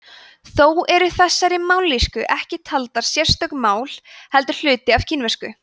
þó eru þessar mállýskur ekki taldar sérstök mál heldur hluti af kínversku